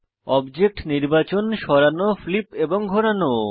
object নির্বাচন সরানো flip এবং ঘোরানো